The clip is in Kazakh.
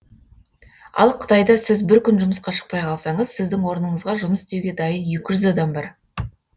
ал қытайда сіз бір күн жұмысқа шықпай қалсаңыз сіздің орныңызға жұмыс істеуге дайын екі жүз адам бар